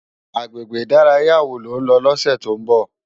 Agbégbé idàráyá wó ló n lò lòsè tó n bò?